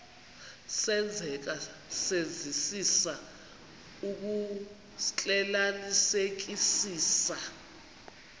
senzeka senzisisa ukuxclelanisekisisa